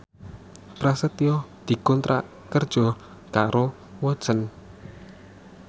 Prasetyo dikontrak kerja karo Watson